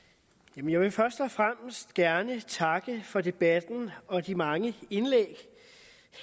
vil først og fremmest gerne takke for debatten og de mange indlæg